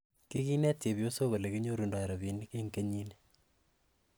Kiginet chepyosok olekinyorundoo rapinik en kenyini